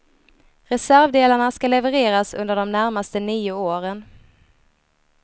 Reservdelarna ska levereras under de närmaste nio åren.